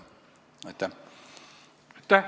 Aitäh!